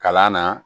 Kalan na